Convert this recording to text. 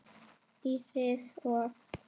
Íris og